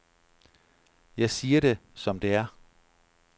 Jeg siger det som det er.